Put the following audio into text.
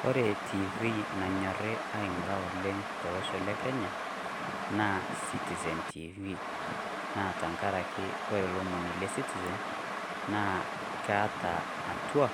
Kore TV nanyorri aing'urra oleng tolosho le Kenya naa Citizen TV, naa tenkaraki kore lomoni le Citizen naa keata atua,